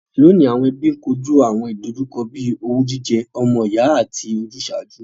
Lóọ̀ní, àwon ẹbí n kojú àwọn ìdojúkọ bíi owú jíjẹ ọmọ ìyá àti ojúsàájú.